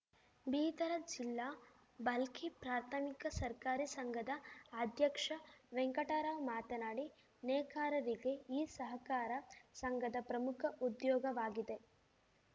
ಬೀದರ ಜಿಲ್ಲಾ ಬಾಲ್ಕಿ ಪ್ರಾಥಮಿಕ ಸರ್ಕಾರಿ ಸಂಘದ ಅಧ್ಯಕ್ಷ ವೆಂಕಟರಾವ್‌ ಮಾತನಾಡಿ ನೇಕಾರಿಗೆ ಈ ಸಹಕಾರ ಸಂಘದ ಪ್ರಮುಖ ಉದ್ಯೋಗವಾಗಿದೆ